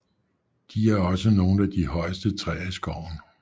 De er også nogle af de højeste træer i skoven